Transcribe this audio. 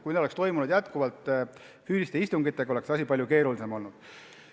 Kui oleks jätkuvalt vaja olnud füüsilisi istungeid, oleks asi palju keerulisem olnud.